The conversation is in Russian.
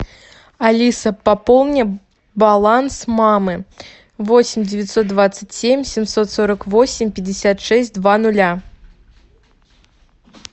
алиса пополни баланс мамы восемь девятьсот двадцать семь семьсот сорок восемь пятьдесят шесть два нуля